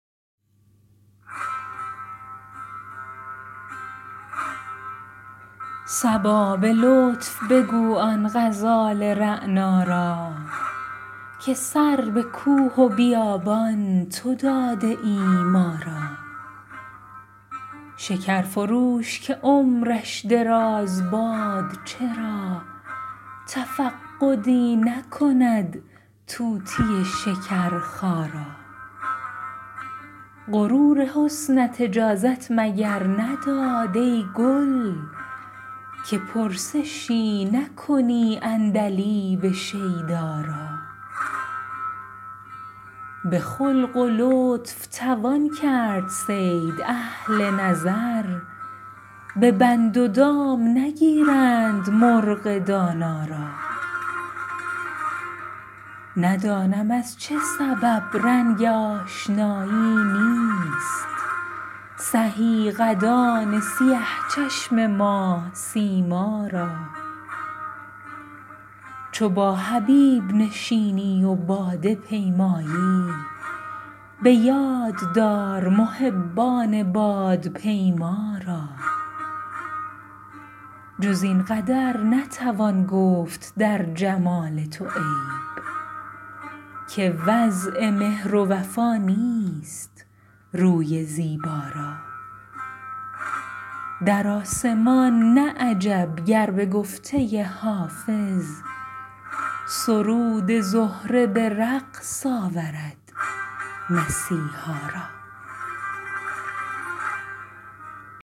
صبا به لطف بگو آن غزال رعنا را که سر به کوه و بیابان تو داده ای ما را شکر فروش که عمرش دراز باد چرا تفقدی نکند طوطی شکرخا را غرور حسنت اجازت مگر نداد ای گل که پرسشی نکنی عندلیب شیدا را به خلق و لطف توان کرد صید اهل نظر به بند و دام نگیرند مرغ دانا را ندانم از چه سبب رنگ آشنایی نیست سهی قدان سیه چشم ماه سیما را چو با حبیب نشینی و باده پیمایی به یاد دار محبان بادپیما را جز این قدر نتوان گفت در جمال تو عیب که وضع مهر و وفا نیست روی زیبا را در آسمان نه عجب گر به گفته حافظ سرود زهره به رقص آورد مسیحا را